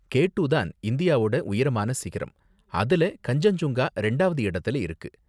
K two தான் இந்தியாவோட உயரமான சிகரம், அதுல கன்சென்ஜுங்கா ரெண்டாவது இடத்துல இருக்கு.